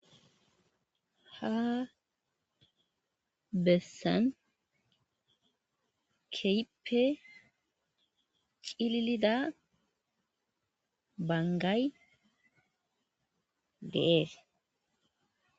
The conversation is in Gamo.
Hayissani betidayissi kehippe cililida baniggayi deyesi.